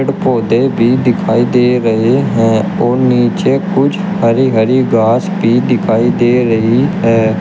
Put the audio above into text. पौधे भी दिखाई दे रहे हैं और नीचे कुछ हरी हरी घास भी दिखाई दे रही है।